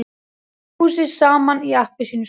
Þjóðleikhúsið saman í appelsínustærð.